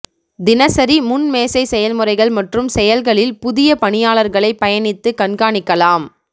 தினசரி முன் மேசை செயல்முறைகள் மற்றும் செயல்களில் புதிய பணியாளர்களைப் பயணித்து கண்காணிக்கலாம்